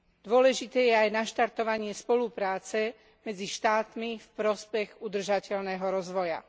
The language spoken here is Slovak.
Dôležité je aj naštartovanie spolupráce medzi štátmi v prospech udržateľného rozvoja.